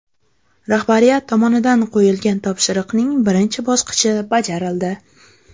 Rahbariyat tomonidan qo‘yilgan topshiriqning birinchi bosqichi bajarildi.